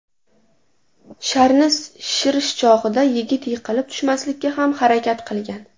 Sharni shishirish chog‘ida yigit yiqilib tushmaslikka ham harakat qilgan.